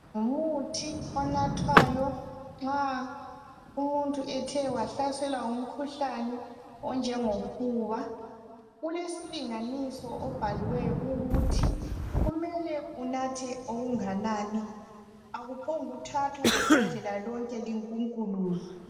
Ngumuthi onathwayo, nxa umuntu ethe wahlaselwa ngumkhuhlane onjengofuba..Ulesilinganiso obhaliweyo, ukuthi kumele unathe ongakanani. Akuphonguthathwa ibhodlela lonke, linkunkuluzwe.